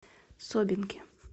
собинке